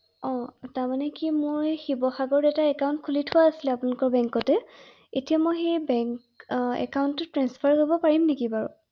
অ তাৰমানে কি মই শিৱসাগৰত এটা একান্টত খুলি থোৱা আছিলে আপোনালোকৰ বেংকতে এতিয়া মই সেই বেংক একান্টতো ট্ৰান্সফাৰ কৰিব পাৰিম নেকি বাৰু?